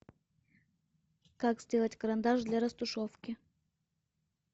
как сделать карандаш для растушевки